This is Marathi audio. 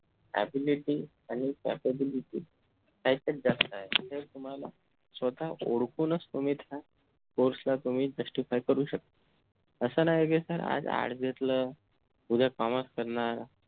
ability आणि capability काहीतरी जास्त आहे तर तुम्हाला स्वतः ओळखूनच तुम्ही त्या course ला justify करू शकता असं नाही कि SIR आज art घेतल उद्या commerce करणार